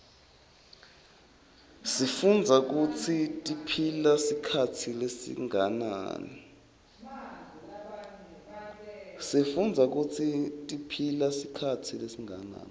sifundza kutsi tiphila sikhatsi lesinganani